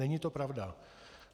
Není to pravda.